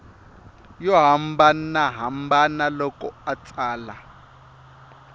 yo hambanahambana loko a tsala